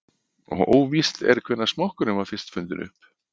Óvíst er hvenær smokkurinn var fyrst fundinn upp.